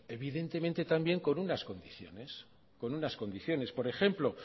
evidentemente también con unas condiciones por ejemplo